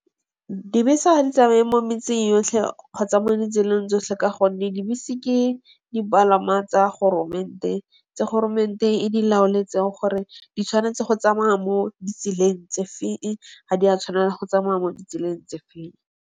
Dibese ha di tsamaye mo metseng yotlhe kgotsa mo ditseleng tsotlhe ka gonne dibese ke dipalangwa tsa goromente. Tsa goromente e di laoletse gore di tshwanetse go tsamaya mo ditseleng tse feng, ga di a tshwanela go tsamaya mo ditseleng tse feng.